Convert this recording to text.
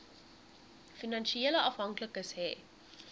finansiële afhanklikes hê